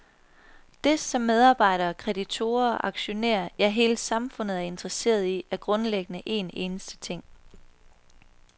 Det, som medarbejdere, kreditorer, aktionærer, ja hele samfundet er interesseret i, er grundlæggende en eneste ting.